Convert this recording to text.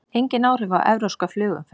Engin áhrif á evrópska flugumferð